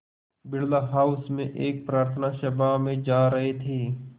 Birla house में एक प्रार्थना सभा में जा रहे थे